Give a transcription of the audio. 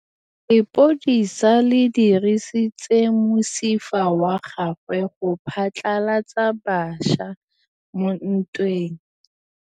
Lepodisa le dirisitse mosifa wa gagwe go phatlalatsa batšha mo ntweng.